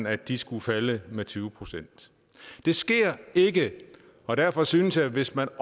at de skulle falde med tyve procent det sker ikke og derfor synes jeg at hvis man